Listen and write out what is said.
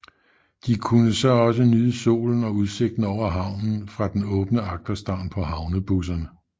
De kunne så også nyde solen og udsigten over havnen fra den åbne agterstavn på havnebusserne